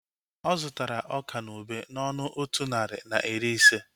Ọ zụtara ọka na ube n'ọnụ otu narị na iri ise